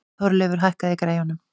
Þorleifur, hækkaðu í græjunum.